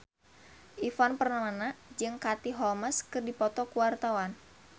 Ivan Permana jeung Katie Holmes keur dipoto ku wartawan